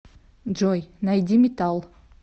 джой найди метал